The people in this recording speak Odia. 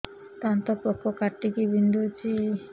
ଦାନ୍ତ ପୋକ କାଟିକି ବିନ୍ଧୁଛି